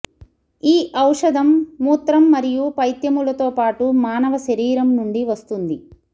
ఈ ఔషధం మూత్రం మరియు పైత్యములతో పాటు మానవ శరీరం నుండి వస్తుంది